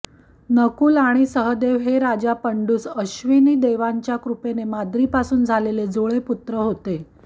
नकुल आणि सहदेव हे राजा पंडूस अश्विनिदेवांच्या कॄपेने माद्रीपासून झालेले जुळे पुत्र होते